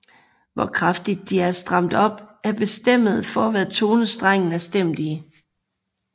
Hvor kraftigt de er stramt op er bestemmende for hvad tone strengen er stemt i